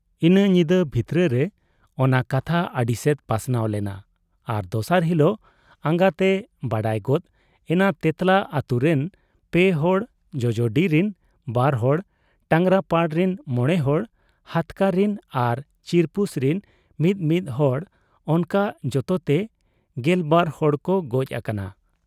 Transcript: ᱤᱱᱟᱹ ᱧᱤᱫᱟᱹ ᱵᱷᱤᱛᱨᱟᱹ ᱨᱮ ᱚᱱᱟ ᱠᱟᱛᱷᱟ ᱟᱹᱰᱤᱥᱮᱫ ᱯᱟᱥᱱᱟᱣ ᱞᱮᱱᱟ ᱟᱨ ᱫᱚᱥᱟᱨ ᱦᱤᱠᱚᱜ ᱟᱸᱜᱟᱜᱛᱮ ᱵᱟᱰᱟᱭ ᱜᱚᱫ ᱮᱱᱟ ᱛᱮᱸᱛᱞᱟ ᱟᱹᱛᱩᱨᱤᱱ ᱯᱮ ᱦᱚᱲ, ᱡᱚᱡᱚᱰᱤᱨᱤᱱ ᱵᱟᱨᱦᱚᱲ, ᱴᱟᱸᱜᱽᱨᱟᱯᱟᱲ ᱨᱤᱱ ᱢᱚᱬᱮᱦᱚᱲ, ᱦᱟᱹᱛᱠᱟᱹ ᱨᱤᱱ ᱟᱨ ᱪᱤᱨᱯᱩᱥ ᱨᱤᱱ ᱢᱤ ᱢᱤᱫ ᱦᱚᱲ ᱚᱱᱠᱟ ᱡᱚᱛᱚᱛᱮ ᱜᱮᱞᱵᱟᱨ ᱦᱚᱲᱠᱚ ᱜᱚᱡ ᱟᱠᱟᱱᱟ ᱾